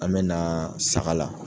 An bɛ na saga la.